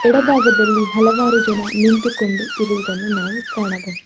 ಎಡಭಾಗದಲ್ಲಿ ಹಲವಾರು ಜನ ನಿಂತುಕೊಂಡು ಇರುವುದನ್ನು ನಾವು ಕಾಣಬಹು--